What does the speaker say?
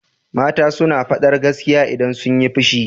Mata suna faɗar gaskiya idan sunyi fushi.